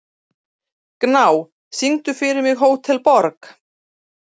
Gná, syngdu fyrir mig „Hótel Borg“.